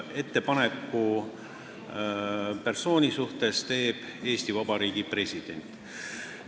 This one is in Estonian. Ettepaneku persooni kohta teeb Eesti Vabariigi president.